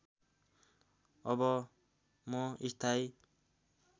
अब म स्थायी